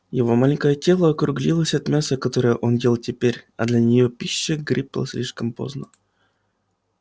его маленькое тело округлилось от мяса которое он ел теперь а для неё пища грипла слишком поздно